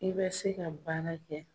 I bɛ se ka baara kɛ.